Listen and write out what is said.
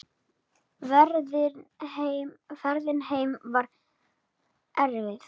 Ferðin heim var erfið.